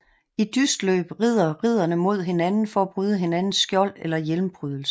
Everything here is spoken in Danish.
I dystløb rider ridderne mod hinanden for at bryde hinandens skjold eller hjelmprydelse